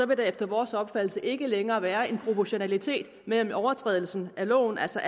vil der efter vores opfattelse ikke længere være en proportionalitet mellem overtrædelsen af loven altså